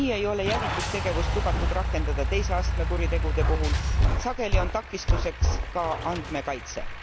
Nii ei ole jälitustegevust lubatud rakendada teise astme kuritegude puhul, sageli on takistuseks ka andmekaitse.